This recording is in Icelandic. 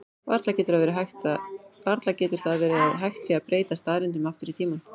Varla getur það verið að hægt sé að breyta staðreyndum aftur í tímann?